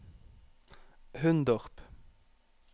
Hundorp